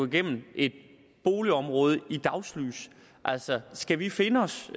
igennem et boligområde i dagslys altså skal vi finde os